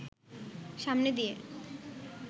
সামনে দিয়ে